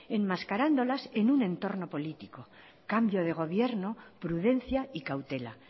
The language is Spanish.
enmascarándolas en un entorno político cambio de gobierno prudencia y cautela